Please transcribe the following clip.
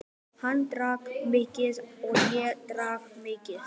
Hann drakk mikið og ég drakk mikið.